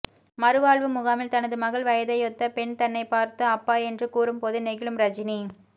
மறு வாழ்வு முகாமில் தனது மகள் வயதையொத்த பெண் தன்னைப் பார்த்து அப்பா என்று கூறும்போது நெகிழும் ரஜினி